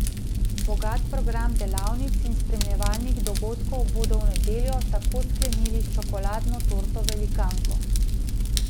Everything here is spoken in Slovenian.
Bogat program delavnic in spremljevalnih dogodkov bodo v nedeljo tako sklenili s čokoladno torto velikanko.